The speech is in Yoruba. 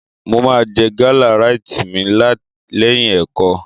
Mo máa jẹ gálà ráìtì mi lẹ́yìn ẹ̀kọ́.